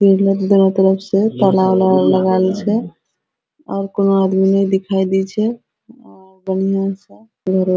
पेड़ दोनो तरफ से ताला उला लगल छै और कोनो आदमी ने दिखाई दे छैऔर बढ़िया --